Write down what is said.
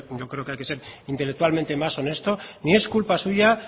yo creo que hay que ser intelectualmente más honesto ni es culpa suya